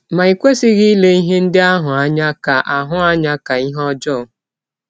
Ma i kwesịghị ile ihe ndị ahụ anya ka ahụ anya ka ihe ọjọọ.